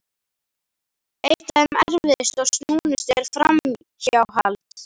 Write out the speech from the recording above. Eitt af þeim erfiðustu og snúnustu er framhjáhald.